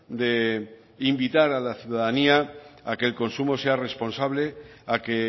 de invitar a la ciudadanía a que el consumo sea responsable a que